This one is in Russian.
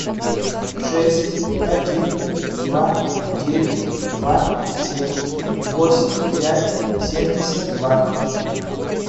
шесть один два девять два семь восемь пять семьдесят два